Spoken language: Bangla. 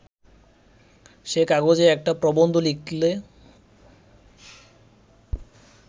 সে কাগজে একটা প্রবন্ধ লিখলে